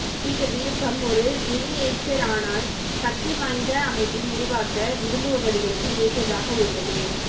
இந்த விருப்பம் ஒரு மினியேச்சர் ஆனால் சக்திவாய்ந்த அமைப்பை உருவாக்க விரும்புபவர்களுக்கு ஏற்றதாக உள்ளது